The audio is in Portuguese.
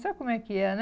Sabe como é que é, né?